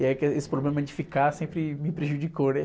E aí é que esse problema de ficar sempre me prejudicou, né?